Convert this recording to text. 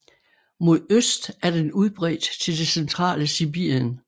Mod øst er den udbredt til det centrale Sibirien